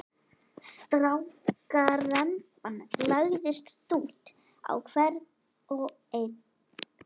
Strákaremban lagðist þungt á hvern og einn.